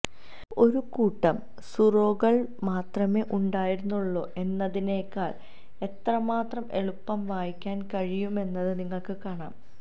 ഒരു കൂട്ടം സൂറോകൾ മാത്രമേ ഉണ്ടായിരുന്നുള്ളൂ എന്നതിനേക്കാൾ എത്രമാത്രം എളുപ്പം വായിക്കാൻ കഴിയുമെന്നത് നിങ്ങൾക്ക് കാണാം